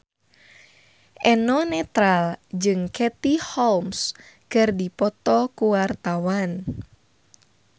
Eno Netral jeung Katie Holmes keur dipoto ku wartawan